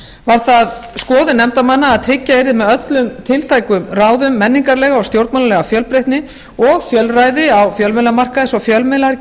var það skoðun nefndarmanna að tryggja yrði með öllum tiltækum ráðum menningarlega og stjórnmálalega fjölbreytni og fjölræði á fjölmiðlamarkaði svo að fjölmiðlar